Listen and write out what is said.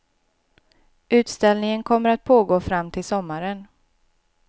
Utställningen kommer att pågå fram till sommaren.